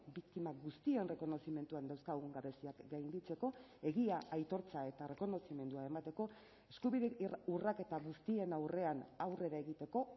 biktima guztien errekonozimenduan dauzkagun gabeziak gainditzeko egia aitortza eta errekonozimendua emateko eskubide urraketa guztien aurrean aurrera egiteko